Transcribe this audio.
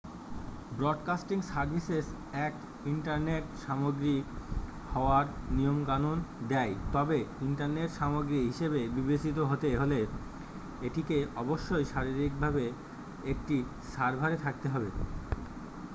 broadcasting services act internet সামগ্রী হওয়ার নিয়মকানুন দেয় তবে ইন্টারনেট সামগ্রী হিসাবে বিবেচিত হতে হলে এটিকে অবশ্যই শারীরিকভাবে একটি সার্ভারে থাকতে হবে